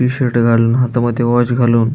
T-shirt घालून हातामध्ये watch घालून --